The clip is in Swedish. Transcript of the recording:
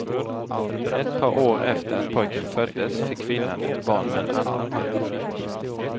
Ett par år efter att pojken föddes fick kvinnan ett barn med en annan man.